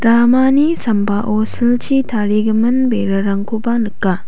ramani sambao silchi tarigimin berarangkoba nika.